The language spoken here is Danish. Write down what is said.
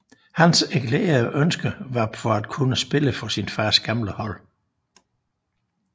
Hans erklærede ønske var for at kunne spille for sin fars gamle hold